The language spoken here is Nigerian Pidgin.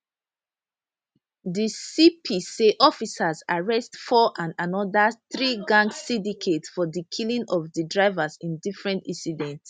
di cp say officers arrest four and anoda threegang syndicate for di killing of di drivers in different incidents